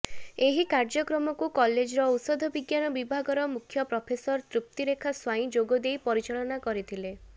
ଏହି କାର୍ଯ୍ୟକ୍ରମକୁ କଲେଜର ଔଷଧବିଜ୍ଞାନ ବିଭାଗର ମୁଖ୍ୟ ପ୍ରଫେସର ତ୍ରୁପ୍ତିରେଖା ସ୍ୱାଇଁ ଯୋଗଦେଇ ପରିଚାଳନା କରିଥିଲେ